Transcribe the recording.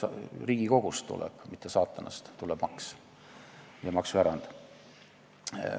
Riigikogust, mitte saatanast, tuleb maks ja maksuerand.